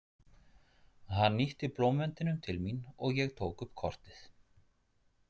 Hann ýtti blómvendinum til mín og ég tók upp kortið.